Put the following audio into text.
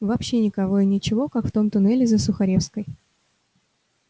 вообще никого и ничего как в том туннеле за сухаревской